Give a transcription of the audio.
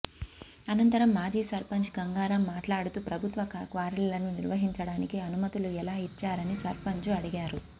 అనంతరం మాజీ సర్పంచ్ గంగారాం మాట్లాడుతూ ప్రభుత్వ క్వారీలను నిర్వహించడానికి అనుమతులు ఎలా ఇచ్చారని సర్పంచ్ను అడిగారు